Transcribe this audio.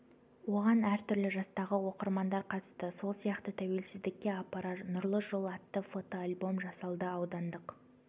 оған әр түрлі жастағы оқырмандар қатысты сол сияқты тәуелсіздікке апарар нұрлы жол атты фото-альбом жасалды аудандық